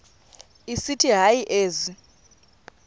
esithi hayi ezi